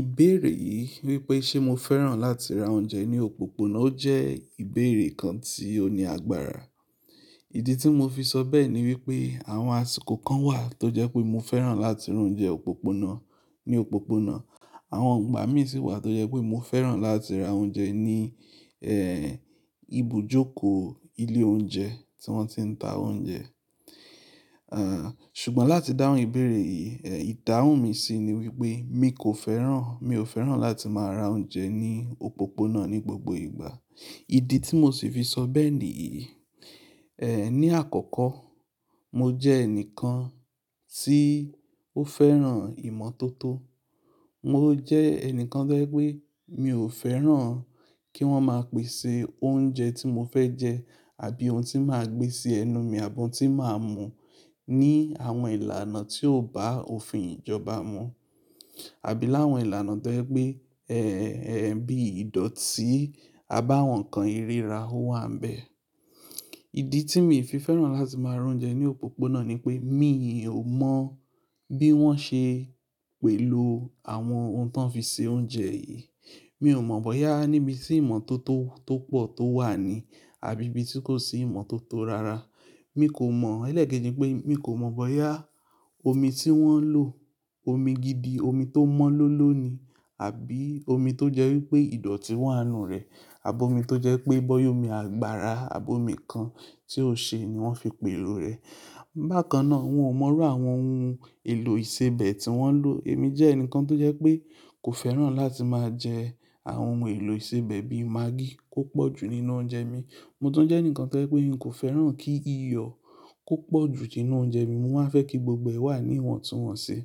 Ìbéèrè yìí wípé ṣé mo fẹ́ràn láti ra oúnjẹ ní òpópónà, ó jẹ́ ìbéèrè kan tí ó ní agbára. Ìdí tí mo fi sọ bẹ́ẹ̀ ni wípé àwọn àsìkò kan wà tó jẹ́ pé mo fẹ́ràn láti ra oúnjẹ òpópónà ní òpópónà. Àwọn ìgbà mi sì wà tó jẹ́ pé mo fẹ́ràn láti ra oúnjẹ ní, ẹ́ẹ́, ibùjókòó ilé oúnjẹ tí wọ́n ti ń ta oúnjẹ. Èèè, ṣùgbọ́n láti dáhùn ìbéèrè yìí, èèè, ìdáhùn mi sì ni wípé mi kò fẹ́ràn, mi ò fẹ́ràn láti máa ra oúnjẹ ní òpópónà ní gbogbo ìgbà. Ìdí tí mo sì fi sọ bẹ́ẹ̀ ni yìí, ẹ́è, ní àkọ́kọ́ mo jẹ́ ẹnìkan tí ó fẹ́ràn ìmọ̀tótó. Mo jẹ́ ẹnìkan tó jẹ́ pé mi ò fẹ́ràn kí wọ́n máa pèsè oúnjẹ tí mo fẹ́ jẹ àbí ohun tí máa gbé sí ẹnu mi àbọ́ ohun tí màá mú ní àwọn ìlànà tí ò bá òfin ìjọba mu. Àbí láwọn ìlànà tó jẹ́ pé, ẹ́ẹ́, bí ìdọ̀tí abáwọ̀n kan ìríra ó wà ń bẹ. Ìdí tí mi fi fẹ́ràn láti máa ra oúnjẹ ní òpópónà ni pé mí ò mọ̀ bí wọ́n ṣe pèlò àwọn ohun tó ń fi se oúnjẹ yìí. Mi ò mọ̀ bóyá níbi tí ìmọ̀tótó tó pọ̀ tó wà ni àbí ibi tí kò sí ìmọ̀tótó rara. Mi kò mọ̀, ẹlẹ́keji pé mi kò mọ̀ bóyá omi tí wọ́n ń lò, omi gidi, omi tó mọ́lómọ́ló ni àbí omi tó jẹ́ wípé ìdọ̀tí wà nínú rẹ̀ àbọ́ omi tó jẹ́ pé bọ́yọ́ omi àgbára àbọ́ omi kan tí ó ṣe ni wọ́n fi pèlò rẹ̀. Bákan náà, wọn ò mọ̀ ráwọn ohun èlò ìsebẹ̀ tí wọ́n ń lò. Èmi jẹ́ ẹnìkan tó jẹ́ pé kò fẹ́ràn láti máa jẹ àwọn ohun èlò ìsebẹ̀ bí i magí tó pọ̀jù nínú oúnjẹ mi. Mo tún jẹ́ ẹnìkan tó jẹ́ pé mi kò fẹ́ràn kí iyọ̀ kó pọ̀jù nínú oúnjẹ mi. Mo máa fẹ́ kí gbogbo ẹ̀ wà níwọ̀ntúnwọ̀nsẹ̀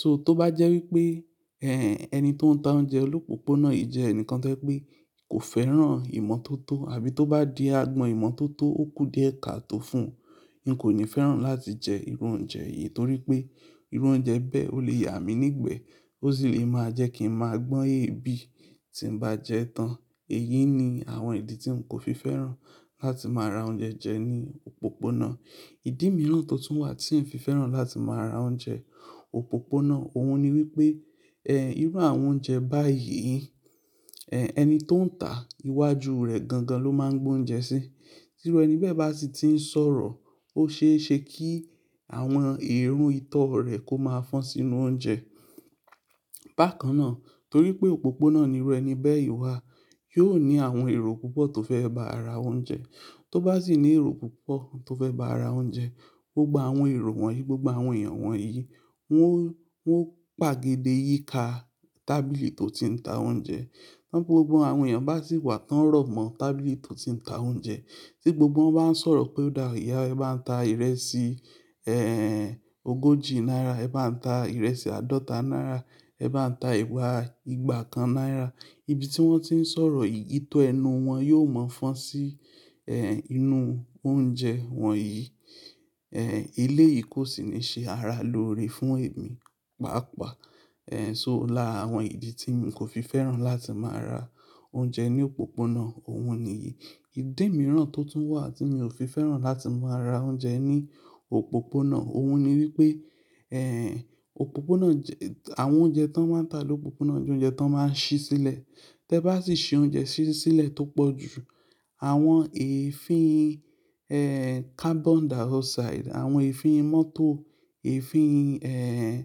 So tó bá jẹ́ wípé, ẹ́ẹ́, ẹni tó ń ta oúnjẹ lópópónà yìí jẹ́ ẹnìkan tó jẹ́ pé kò fẹ́ràn ìmọ̀tótó àbí tó bá di agbọn ìmọ̀tótó ó kú díẹ̀ ka tó fún un, n kò ní fẹ́ràn láti jẹ irú oúnjẹ yìí torí pé irú oúnjẹ bẹ́ẹ̀ ó lè yà mí nígbẹ̀ẹ́, ó sì lè máa jẹ́ kí ń máa gbọ́n èébì tí ń bá jẹ ẹ́ tán. Èyí ni àwọn ìdí tí mo kò fi fẹ́ràn láti máa ra oúnjẹ jẹ ní òpópónà. Ìdí mìíràn tó tún wà tí ń fi fẹ́ràn láti máa ra oúnjẹ òpópónà, òhun ni wípé, ẹ́ẹ́, irú àwọn oúnjẹ báyìí, ẹ́ẹ́, ẹni tó ń tà ìwájú rẹ̀ gangan ló máa ń gbó oúnjẹ sí. Tí ọ̀rọ̀ ẹni bẹ́ẹ̀ bá sì ti ń sọ̀rọ̀, ó ṣeéṣe kí àwọn èrò ìtọ́ rẹ̀ kó máa fọn sínú oúnjẹ. Bákan náà torí pé òpópónà ní ọ̀rọ̀ ẹni bẹ́ẹ̀ yí wà, yóò ní àwọn èrò púpọ̀ tó fẹ́ ba ara oúnjẹ. Tó bá sì ní èrò púpọ̀ tó fẹ́ ba ara oúnjẹ, gbogbo àwọn èrò wọ̀nyí, gbogbo àwọn èèyàn wọ̀nyí, wọn ó, wọn ó pàgèdè yíká tábìlì tó ti ń ta oúnjẹ. Tí gbogbo àwọn èèyàn bá sì wà tán rọ̀mọ́ tábìlì tó ti ń ta oúnjẹ, tí gbogbo wọn bá ń sọ̀rọ̀ pé, "Dáàríá ẹ bá ń ta ìrẹsì, ẹ́ẹ́ẹ́, ogójì náírà, ẹ bá ń ta ìrẹsì àádọ́ta náírà, ẹ bá ń ta ẹwà ìgbà kan náírà." Ibi tí wọ́n ti ń sọ̀rọ̀ yìí, ìtọ́ ẹnu wọn yóò mọ́ fọ́n sí, ẹ́ẹ́, inú oúnjẹ wọn yìí. Ẹ́ẹ́, ilé yìí kò sì ní ṣe ara lóore fún èmi, pàápàá. Ẹ́ẹ́, so láàwọn ìdí tí mi kò fi fẹ́ràn láti máa ra oúnjẹ ní òpópónà, òhun ni yìí. Ìdí mìíràn tó tún wà tí mi ò fi fẹ́ràn láti máa ra oúnjẹ ní òpópónà, òhun ni wípé, ẹ́ẹ́, òpópónà jẹ-- àwọn oúnjẹ tí wọ́n ń tà lópópónà jẹ́ oúnjẹ tí wọ́n máa ń ṣí sílẹ̀. Tẹ bá sì ṣí oúnjẹ ṣí sílẹ̀ tó pọ̀jù, àwọn èéfín, ẹ́ẹ́, carbon dioxide, àwọn èéfín mọ́tò, èéfín, ẹ́ẹ́,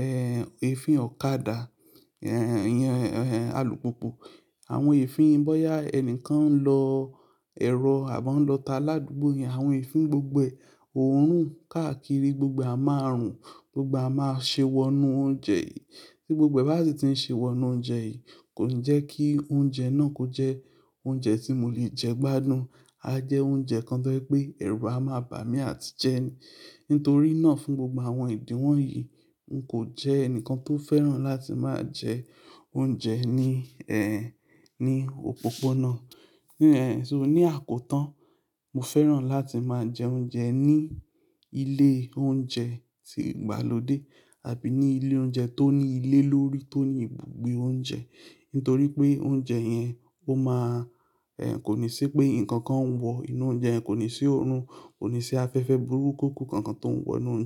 ẹ́ẹ́, èéfín ọ̀kadà, ẹ́ẹ́, yẹn, alùpùpù, àwọn èéfín bóyá ẹni kan ń lọ ẹ̀rọ àbọ́ ń lọta ládùúgbò yẹn, àwọn èéfín gbogbo òórùn káàkiri gbogbo a máa rùn, gbogbo a máa ṣe wọ inú oúnjẹ yìí. Tí gbogbo ẹ́ bá sì ti ń ṣe wọ inú oúnjẹ yìí, kò ní jẹ́ kí oúnjẹ náà kó jẹ́ oúnjẹ tí mo lè jẹ gbádùn. A jẹ́ oúnjẹ kan tó jẹ́ pé ẹ̀rù á máa bà mí àti jẹ ni. Nítorí náà fún gbogbo àwọn ìdí wọ̀nyí, n kò jẹ́ ẹni kan tó fẹ́ràn láti máa jẹ oúnjẹ ní, ẹ́ẹ́, ní òpópónà. Ẹ́ẹ́, so ní àkótán, mo fẹ́ràn láti máa jẹ oúnjẹ ní ilé oúnjẹ ti ìgbàlódé àbí ní ilé oúnjẹ tó ní ilé lórí tó ní ibùgbé oúnjẹ. Nítorí pé oúnjẹ yẹn ó máa, ẹ́ẹ́, kò ní sí pé nǹkan kan ń wọ inú oúnjẹ, kò ní sí òórùn, kò ní sí afẹ́fẹ́ burúkú kankan tó ń wọ inú oúnjẹ.